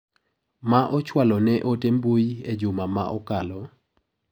Ma ochwalo na ote mbui e juma ma okalo.